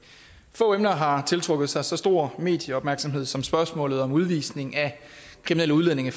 få emner har tiltrukket sig så stor medieopmærksomhed som spørgsmålet om udvisning af kriminelle udlændinge